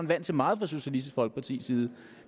vant til meget fra socialistisk folkepartis side